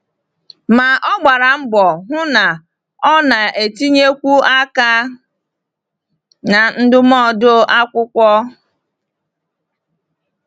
Ma ọ gbara mbọ hụ na ọ na-etinyekwu aka na ndụmọdụ akwụkwọ.